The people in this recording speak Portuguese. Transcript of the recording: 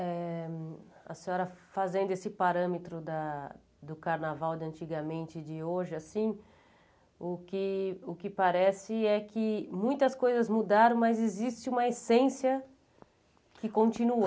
Eh a senhora fazendo esse parâmetro da do carnaval de antigamente e de hoje assim, o que o que parece é que muitas coisas mudaram, mas existe uma essência que continua.